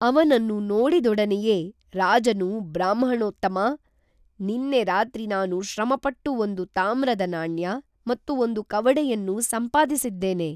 ಅವನನ್ನು ನೋಡಿದೊಡನೆಯೇ ರಾಜನು ಬ್ರಾಹ್ಮಣೋತ್ತಮಾ, ನಿನ್ನೆ ರಾತ್ರಿ ನಾನು ಶ್ರಮಪಟ್ಟು ಒಂದು ತಾಮ್ರದ ನಾಣ್ಯ, ಮತ್ತು ಒಂದು ಕವಡೆಯನ್ನು ಸಂಪಾದಿಸಿದ್ದೇನೆ